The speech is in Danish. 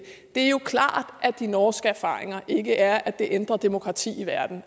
er jo klart at de norske erfaringer ikke er at det ændrer demokrati i verden